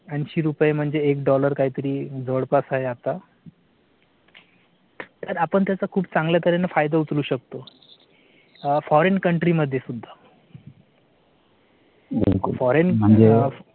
ऐंशी रुपये म्हणजे एक dollar काहीतरी जवळपास आहे आता. तर आपण त्याचा खूप चांगला तर्हेने फायदा उचलू शकतो. foreign country मध्ये सुद्धा